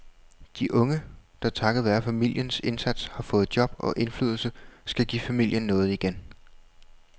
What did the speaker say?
De unge, der takket være familiens indsats har fået job og indflydelse, skal give familien noget igen.